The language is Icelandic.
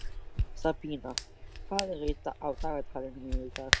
Sabína, hvað er á dagatalinu mínu í dag?